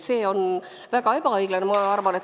See on väga ebaõiglane.